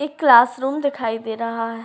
एक classroom दिखाई दे रहा है |